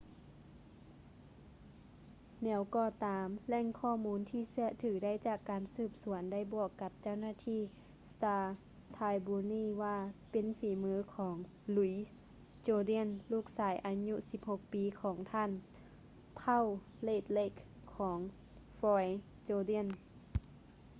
ແນວກໍຕາມ ແຫຼ່ງຂໍ້ມູນທີ່ເຊື່ອຖືໄດ້ຈາກການສືບສວນໄດ້ບອກກັບເຈົ້າໜ້າທີ່ star-tribune ວ່າເປັນຝີມືຂອງ louis jourdain ລູກຊາຍອາຍຸ 16 ປີ ຂອງປະທານເຜົ່າ red lake ຂອງ floyd jourdain